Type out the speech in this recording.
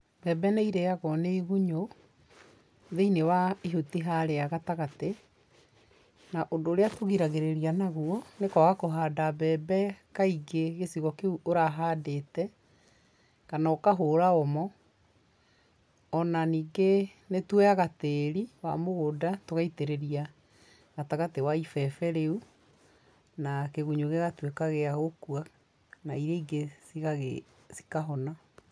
Mbembe nĩ irĩagwo nĩ igunyũ, thĩ-inĩ wa ihuti harĩa gatagatĩ, na ũndũ ũrĩa tũgiragĩrĩria naguo, nĩ kwaga kũhanda mbembe kaingĩ gĩcigo kĩu ũrahandĩte, kana ũkahũra OMO, ona ningĩ nĩ tuoyaga tĩri wa mũgũnda, tũgaitĩrĩria gatagatĩ wa ibebe rĩu na kĩgunyũ gĩgatuĩka gĩa gũkua na iria ingĩ cikahona.